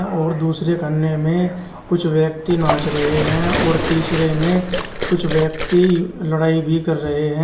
और दूसरे खाने में कुछ व्यक्ति नाच रहे हैं और तीसरे में कुछ व्यक्ति लड़ाई भी कर रहे हैं।